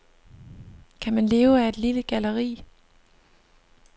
Kan man leve af et lille galleri?